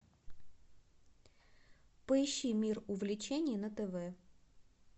поищи мир увлечений на тв